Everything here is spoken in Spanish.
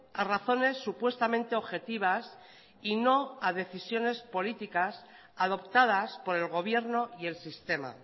a razones supuestamente objetivas y no a decisiones políticas adoptadas por el gobierno y el sistema